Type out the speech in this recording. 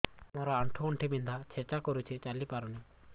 ମୋର ଆଣ୍ଠୁ ଗଣ୍ଠି ବିନ୍ଧା ଛେଚା କରୁଛି ଚାଲି ପାରୁନି